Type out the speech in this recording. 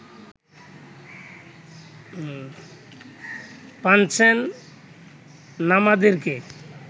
Panchen লামাদেরকে